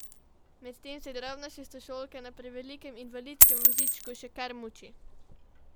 Medtem se drobna šestošolka na prevelikem invalidskem vozičku še kar muči.